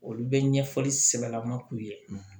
Olu bɛ ɲɛfɔli sɛbɛlama k'u ye